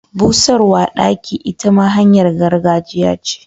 Busarwa daki ita ma hanyar gargajiya ce.